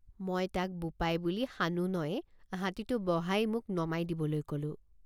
মই তাক বোপাই বুলি সানুনয়ে হাতীটো বহাই মোক নমাই দিবলৈ কলোঁ।